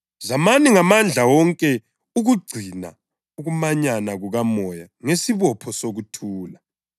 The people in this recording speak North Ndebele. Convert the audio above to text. Zamani ngamandla wonke ukugcina ukumanyana kukaMoya ngesibopho sokuthula.